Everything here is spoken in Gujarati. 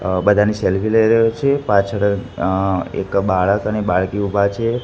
અહ બધાની સેલ્ફી લઈ રહ્યો છે પાછળ અહ એક બાળક અને બાળકી ઊભા છે.